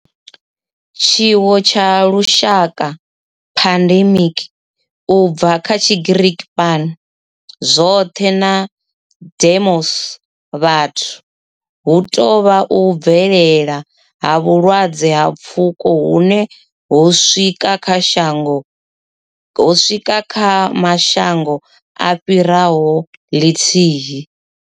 Tshiwo tsha lushaka, pandemic, u bva kha Tshigiriki pan, zwothe na demos, vhathu, hu tou vha u bvelela ha vhulwadze ha pfuko hune ho swika kha mashango a fhiraho lithihi.